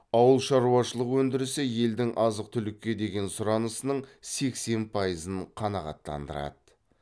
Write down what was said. ауылшаруашылық өндірісі елдің азық түлікке деген сұранысының сексен пайызын қанағаттандырады